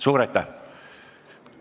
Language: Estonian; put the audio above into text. Suur aitäh!